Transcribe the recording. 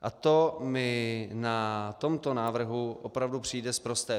A to mi na tomto návrhu opravdu přijde sprosté.